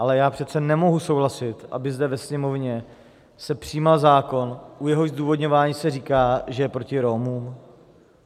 Ale já přece nemohu souhlasit, aby zde ve Sněmovně se přijímal zákon, u jehož zdůvodňování se říká, že je proti Romům.